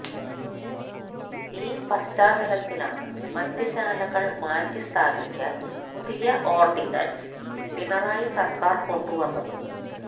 ഈ പശ്ചാത്തലത്തിലാണ് മദ്യശാലകള് മാറ്റി സ്ഥാപിക്കാന് പുതിയ ഓര്ഡിനന്സ് പിണറായി സര്ക്കാര് കൊണ്ടു വന്നത്